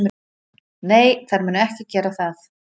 Nei, þær munu ekki gera það.